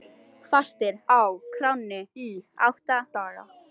Fastir á kránni í átta daga